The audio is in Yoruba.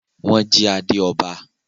nwọn jí ade ọba.